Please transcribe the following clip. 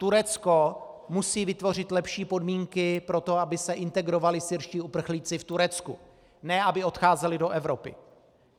Turecko musí vytvořit lepší podmínky pro to, aby se integrovali syrští uprchlíci v Turecku, ne aby odcházeli do Evropy.